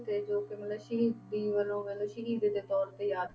ਤੇ ਜੋ ਕਿ ਮਤਲਬ ਸ਼ਹੀਦੀ ਵਜੋਂ ਕਹਿੰਦੇ ਸ਼ਹੀਦ ਦੇ ਤੌਰ ਤੇ ਯਾਦ